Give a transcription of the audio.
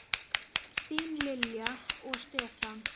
Þín Lilja og Stefán.